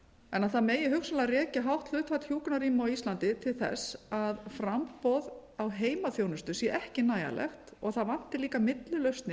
en það megi hugsanlega rekja hátt hlutfall hjúkrunarrýma á íslandi til þess að framboð á heimaþjónustu sé ekki nægjanlegt og það vanti líka millilausnir